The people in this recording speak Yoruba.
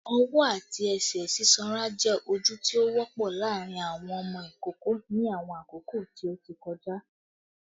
Ọwọ ati ẹsẹ sisonra jẹ oju ti o wọpọ laarin awọn ọmọ ikoko ni awọn akoko ti o ti kọja